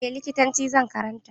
Eh, likitanci zan karanta.